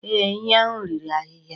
Ee, ehi ahụ riri ahịhịa